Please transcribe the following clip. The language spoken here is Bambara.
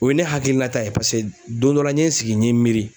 O ye ne hakilinata ye pase don dɔ la n ye n sigi n ye miiri